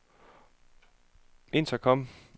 intercom